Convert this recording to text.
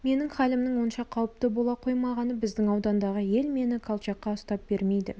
менің халімнің онша қауіпті бола қоймағаны біздің аудандағы ел мені колчакқа ұстап бермейді